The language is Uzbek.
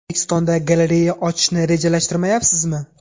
O‘zbekistonda galereya ochishni rejalashtirmayapsizmi?